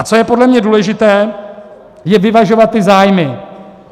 A co je podle mě důležité, je vyvažovat ty zájmy.